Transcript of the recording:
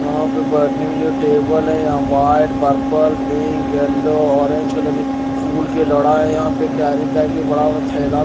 यहां पे बैठने के लिए टेबल है यहां white purple pink yellow orange colour के फूल खिल रहा है यहां पे कैरी बैग भी पड़ा हुआ है थैला--